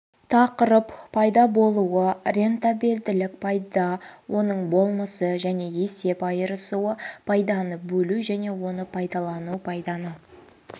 тақырып пайда және рентабелділік пайда оның болмысы және есеп айырысуы пайданы бөлу және оны пайдалану пайданы